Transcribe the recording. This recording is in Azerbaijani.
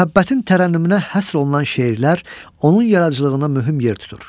Məhəbbətin tərənnümünə həsr olunan şeirlər onun yaradıcılığına mühüm yer tutur.